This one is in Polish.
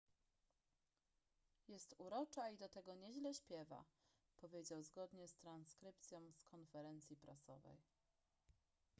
jest urocza i do tego nieźle śpiewa powiedział zgodnie z transkrypcją z konferencji prasowej